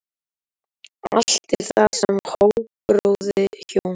Allt er það sem háborið hjóm.